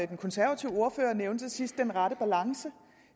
den konservative ordfører nævnte til sidst nemlig den rette balance